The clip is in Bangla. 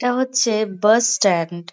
এটা হচ্ছে বাস স্ট্যান্ড ।